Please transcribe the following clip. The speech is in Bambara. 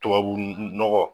Tubabu u u nɔgɔ